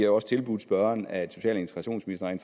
også tilbudt spørgeren at social og integrationsministeren